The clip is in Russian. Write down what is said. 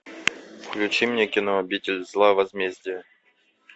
включи мне кино обитель зла возмездие